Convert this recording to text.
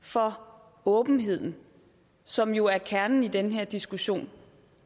for åbenheden som jo er kernen i den her diskussion